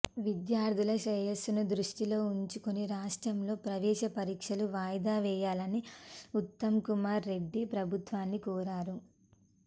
విద్యార్థుల శ్రేయస్సును దృష్టిలో ఉంచుకుని రాష్ట్రంలో ప్రవేశ పరీక్షలు వాయిదా వేయాలని ఉత్తమ్కుమార్ రెడ్డి ప్రభుత్వాన్ని కోరారు